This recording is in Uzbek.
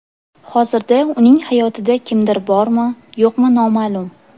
Hozirda uning hayotida kimdir bormi, yo‘qmi noma’lum.